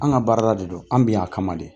An ka baarada de don an bɛ yan a kama de